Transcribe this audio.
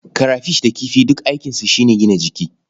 Karafish da kifi duk aikinsu shi ne gina jiki.